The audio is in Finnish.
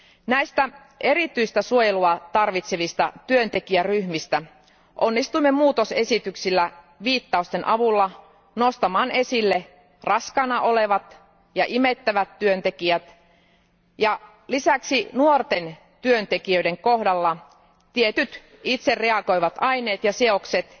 Näistä erityistä suojelua tarvitsevista työntekijäryhmistä onnistuimme tarkistuksilla viittausten avulla nostamaan esille raskaana olevat ja imettävät työntekijät, ja lisäksi nuorten työntekijöiden kohdalla tietyt itsereagoivat aineet ja seokset,